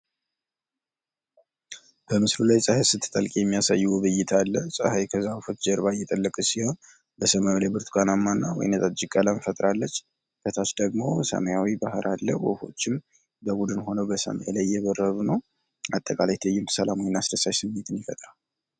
በምስሉ ላይ ፀሐይ ስትጠልቅ የሚያሳይ ውብ እይታ አለ። ፀሐይ ከዛፎች ጀርባ እየጠለቀች ሲሆን በሰማዩ ላይ ብርቱካናማ እና ወይነ ጠጅ ቀለም ፈጥራለች። ከታች ደግሞ ሰማያዊ ባህር አለ። ወፎችም በቡድን ሁነው በሰማይ ላይ እየበረሩ ነው። አጠቃላይ ትዕይንቱ ሰላምና አስደሳች ስሜትን ይፈጥራል።